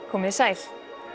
komið þið sæl